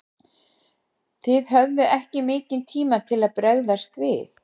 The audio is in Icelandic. Þið höfðuð ekki mikinn tíma til þess að bregðast við?